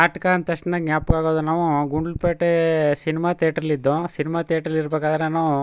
ನಾಟ್ಕ ಅಂತಕ್ಷಣ ಗ್ಯಾಪಕ್ Gundlupet cinema theatre ಲಿದ್ದೋ ಸಿನಿಮಾ ಥಿಯೇಟರ್ ಇರಬೇಕಾದ್ರುನು.